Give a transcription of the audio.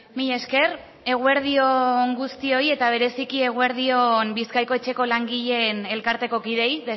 mila esker eguerdi on guztioi eta bereziki eguerdi on bizkaiko etxeko langileen elkarteko kideei